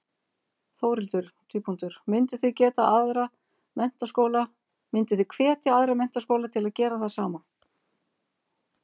Þórhildur: Mynduð þið hvetja aðra menntaskóla til að gera það sama?